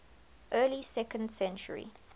early second century